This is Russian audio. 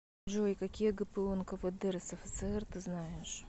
джой какие гпу нквд рсфср ты знаешь